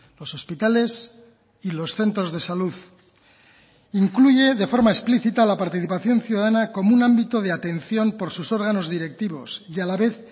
los hospitales y los centros de salud incluye de forma explícita la participación ciudadana como un ámbito de atención por sus órganos directivos y a la vez